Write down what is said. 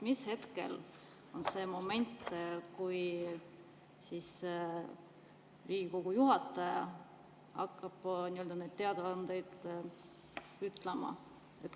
Millal on see hetk, kui Riigikogu juhataja hakkab neid teadaandeid ütlema?